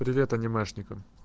привет анимешникам